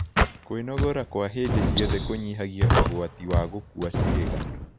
Kwĩnogora kwa hĩndĩ cĩothe kũnyĩhagĩa ũgwatĩ wa gũkũa ciĩga